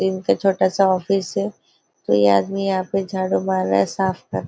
इनका छोटा सा ऑफिस है कोंई आदमी यहाँ पे झाड़ू मार रहा है साफ़ कर --